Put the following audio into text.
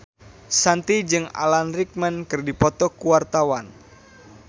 Shanti jeung Alan Rickman keur dipoto ku wartawan